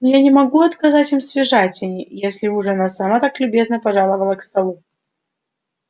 но я не могу отказать им в свежатине если уж она сама так любезно пожаловала к столу